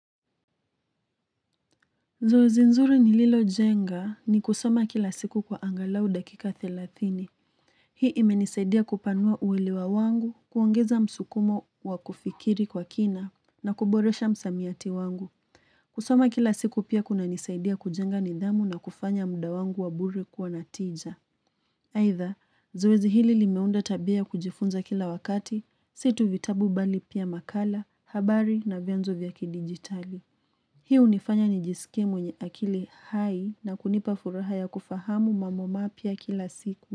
Zoezi nzuri ni lilo jenga ni kusoma kila siku kwa angalau dakika thelathini. Hii imenisaidia kupanua uwelewa wangu, kuongeza msukumo wa kufikiri kwa kina na kuboresha msamiati wangu. Kusoma kila siku pia kuna nisaidia kujenga nidhamu na kufanya muda wangu wa bure kwa na tija. Aitha, zoezi hili limeunda tabia kujifunza kila wakati, si tu vitabu bali pia makala, habari na vyanzo vya kidigitali. Hii hunifanya ni jisike mwenye akili hai na kunipa furaha ya kufahamu mambo mapya kila siku.